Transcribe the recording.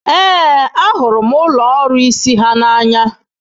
Ee, ahụrụ m ụlọ ọrụ isi ha n'anya.